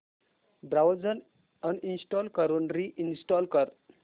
browser uninstall करून reinstall कर